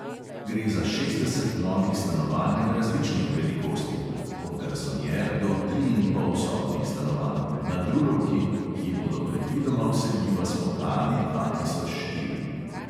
Gre za šestdeset novih stanovanj različnih velikosti (od garsonjer do triinpolsobnih stanovanj) na drulovki, ki bodo predvidoma vseljiva spomladi dva tisoč štiri.